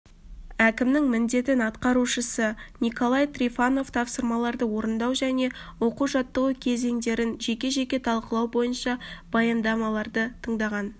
әкімінің міндетін атқарушысы николай трифонов тапсырмаларды орындау және оқу-жаттығу кезеңдерін жеке-жеке талқылау бойынша баяндамаларды тыңдаған